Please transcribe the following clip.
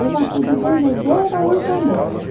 Eu já fui de Benzedeira a Allan Kardec.